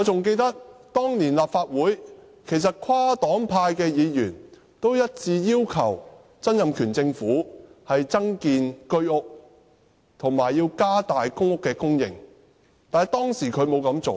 記得當年立法會跨黨派議員一致要求曾蔭權政府增建居屋，以及增加公屋供應，但他當時沒有這樣做。